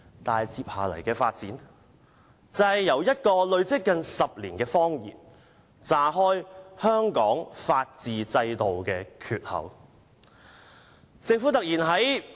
但是，事情接下來的發展，就是這個撒了近10年的謊言"炸開"了香港法治制度的缺口。